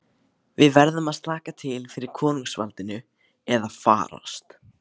Við verðum að slaka til fyrir konungsvaldinu eða farast.